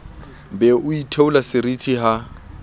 be o itheola seriti ha